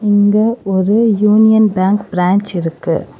இங்க ஒரு யூனியன் பேங்க் பிரான்ச் இருக்கு.